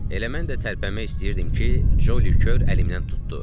Elə mən də tərpənmək istəyirdim ki, Joli Kör əlimdən tutdu.